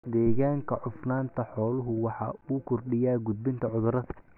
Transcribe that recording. Deegaanka cufnaanta xooluhu waxa uu kordhiyaa gudbinta cudurrada.